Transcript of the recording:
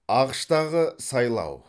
ақш тағы сайлау